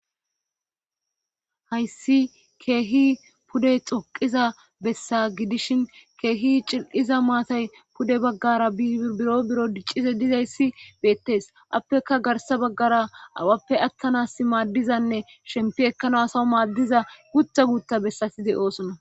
Hayssi keehi pude xoqiza bessa gidishin keehi cil'iza maatay pude baggara bibiro biro diccize dizayssi beettes appeka garsa baggara awappe attanas maaddizanne shempi ekkana asaw maaddiza guta guutta bessaside oosona.